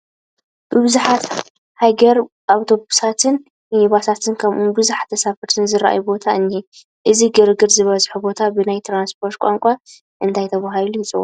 ብዙሓት ሃይገር ኣውቶቡሳትን ሚኒባሳትን ከምኡውን ብዙሓት ተሳፈርትን ዝርአዩሉ ቦታ እኒሀ፡፡ እዚ ግርግር ዝበዝሖ ቦታ ብናይ ትራንስፖርት ቋንቋ እንታይ ተባሂሉ ይፅዋዕ?